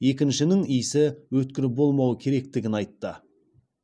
екіншінің иісі өткір болмауы керектігін айтты